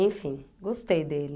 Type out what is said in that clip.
Enfim, gostei dele.